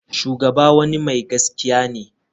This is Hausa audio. Shugaba wani mai gaskiya ne.